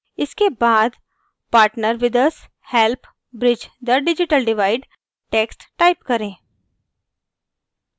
इसके बाद partner with us help bridge the digital divide text type करें